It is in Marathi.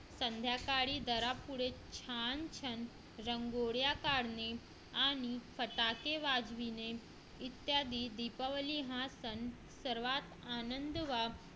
संध्याकाळी घरापुढे छान छान रांगोळ्या काढणे आणि फटाके वाजवणे इत्यादी दीपावली हा सण सर्वात आनंद